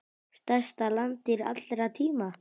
Stærsta landdýr allra tíma.